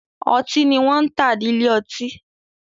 Ọtí ni wọ́n ń tà ní ilé ọtí.